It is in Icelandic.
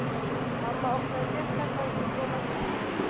Mamma opnaði dyrnar áður en ég kom að tröppunum